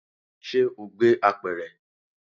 Ṣe o gbé apẹ̀rẹ̀?